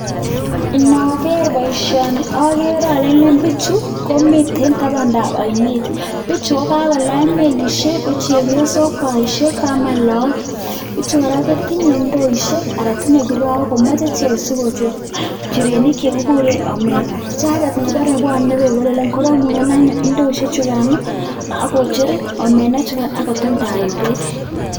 Inaker boishoni agere ale bichu komiten tabandab oinet bichu ko kakolany melishek kochenge[mu] bichu kora kotinye ndoishek anan tinyei karaok komach ichek sikocher njirenik chekikuren omena, ichekek kobore bwonei beek koromune ndoishe chikan ak kocher omena chikan ak kotumndae beek.